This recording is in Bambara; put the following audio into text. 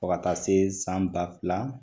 Fo ka taa se san ba fila